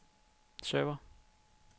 server